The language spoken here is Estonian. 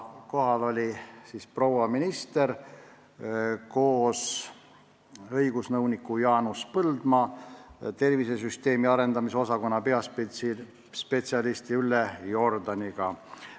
Kohal oli proua minister koos õigusnõunik Jaanus Põldmaa ja tervisesüsteemi arendamise osakonna peaspetsialisti Ülle Jordaniga.